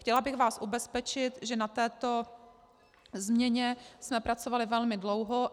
Chtěla bych vás ubezpečit, že na této změně jsme pracovali velmi dlouho.